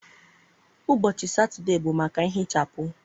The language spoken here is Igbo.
Ụbọchị Satọde bụ maka nhichapụ.